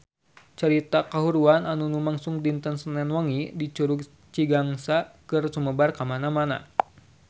Carita kahuruan anu lumangsung dinten Senen wengi di Curug Cigangsa geus sumebar kamana-mana